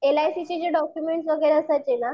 L I सीचे जे document वगैरे असायचे ना